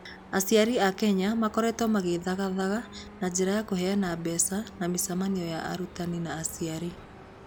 Aciari a Kenya makoretwo magĩthagathaga na njĩra ya kũheana mbeca na mĩcemanio ya arutani na aciari.